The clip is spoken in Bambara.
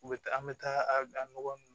U bɛ taa an bɛ taa a nɔgɔ ninnu